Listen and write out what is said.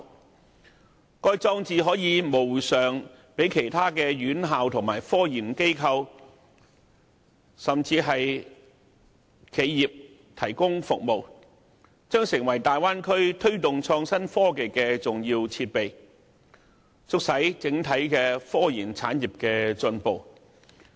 此外，該項裝置可以無償為其他院校、科研機構和企業提供服務，日後勢將成為大灣區推動創新科技的重要設備，促使整體科研產業進步。